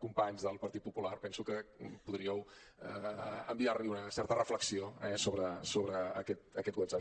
companys del partit popular penso que podríeu enviar li una certa reflexió eh sobre aquest whatsapp